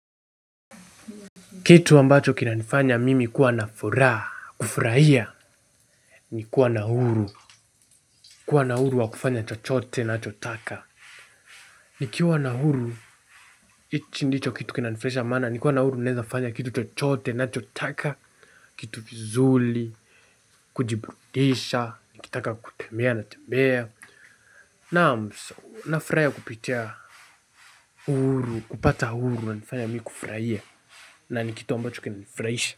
Kitu ambacho kinachonifanya mimi kuwa na furaha, kufurahia, ni kuwa na uhuru. Kuwa na uhuru wa kufanya chochote nachotaka. Nikiwa na huru hichi ndicho kitu kinachonifurahisha. Nikiwa na uhuru naeza fanya kitu chochote nachotaka, kitu vizuri, kujiburudisha, nikitaka kutembea natembea. Naam nafurahiakupitia. Uhuru kupata uhuru kunanifanya mimi kufurahia. Na ni kitu ambacho kinanifurahisha.